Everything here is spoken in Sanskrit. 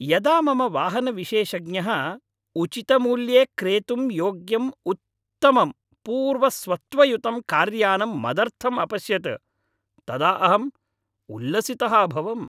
यदा मम वाहनविशेषज्ञः उचितमूल्ये क्रेतुं योग्यम् उत्तमं पूर्वस्वत्वयुतं कार्यानं मदर्थम् अपश्यत् तदा अहं उल्लसितः अभवम्।